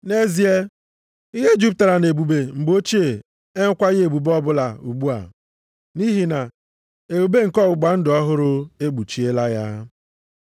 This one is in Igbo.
Nʼezie, ihe jupụtara nʼebube mgbe ochie enwekwaghị ebube ọbụla ugbu a, nʼihi na ebube nke ọgbụgba ndụ ọhụrụ ekpuchiela ya.